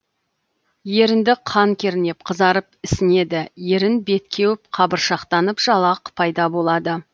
ерінді қан кернеп қызарып ісінеді ерін бет кеуіп қабыршақтанып жалақ пайда болады